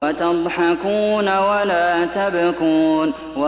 وَتَضْحَكُونَ وَلَا تَبْكُونَ